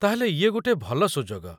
ତା'ହେଲେ ଇଏ ଗୋଟେ ଭଲ ସୁଯୋଗ